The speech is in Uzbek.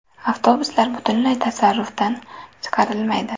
Avtobuslar butunlay tasarrufdan chiqarilmaydi.